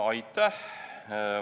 Aitäh!